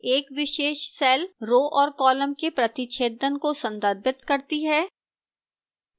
एक विशेष cell row और column के प्रतिच्छेदन को संदर्भित करती है